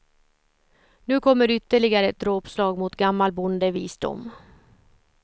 Nu kommer ytterligare ett dråpslag mot gammal bondevisdom.